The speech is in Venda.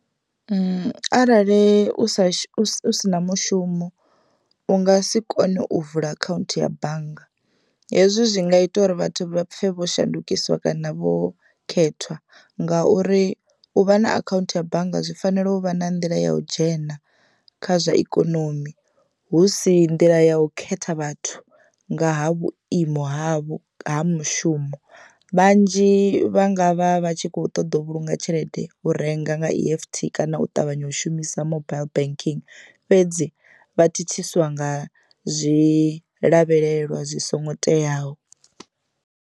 Arali u sa shu u sina mushumo u nga si kone u vula akhaunthu ya bannga hezwi zwi nga ita uri vhathu vha pfhe vho shandukisiwa kana vho khethwa, ngauri u vha na akhaunthu ya bannga zwi fanela u vha na nḓila ya u dzhena kha zwa ikonomi hu si nḓila ya u khetha vhathu nga ha vhuimo havho ha mushumo. Vhanzhi vha nga vha vha tshi kho ṱoḓa u vhulunga tshelede u renga nga E_F_T kana u ṱavhanya u shumisa mobile banking fhedzi vha thithiswa nga zwi lavhelelwa zwi songo teaho.